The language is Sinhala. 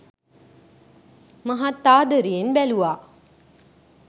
මහත් ආදරයෙන් බැලුවා.